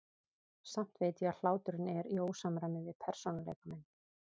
Samt veit ég að hláturinn er í ósamræmi við persónuleika minn.